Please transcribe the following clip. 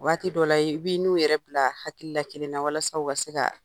Waati dɔ la, i b' n'u yɛrɛ bila hakili la kelen na walasa u ka se ka